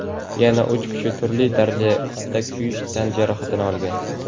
yana uch kishi turli darajada kuyish tan jarohatini olgan.